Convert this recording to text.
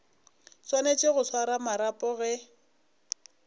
swanetše go swara marapo ge